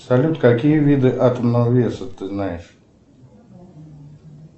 салют какие виды атомного веса ты знаешь